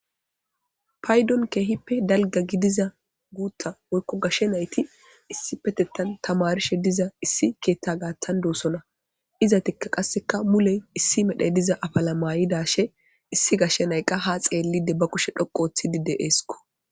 Paydon keehippe dalga gidiza guutta woykko gashshe nayti issi petettan tamarishe diza issi keethta gaattan doosona iza tikka qasseka muley issi medhey diza afala mayidashe issi gashshe nayqqa ha xeellide ba kushe dhoqo ooththidi de eeskko